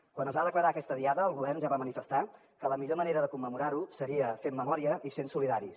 quan es va declarar aquesta diada el govern ja va manifestar que la millor manera de commemorar la seria fent memòria i sent solidaris